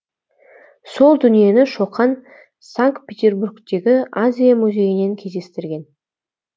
сол дүниені шоқан санкт петербургтегі азия музейінен кездестірген